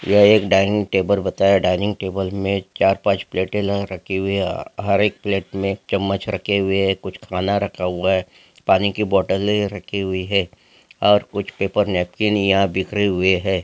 यह एक dining table बताया डाइनिंग टेबल में चार पांच प्लेट लगा रखी है हर एक प्लेट में एक चम्मच रखे हुए है यह कुछ खाना रखा हुआ है पानी के बोटले रखी हुई है और कुछ पेपर नैपकिन यहां बिखरे हुए है।